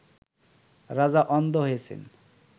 রাজা অন্ধ হইয়াছেন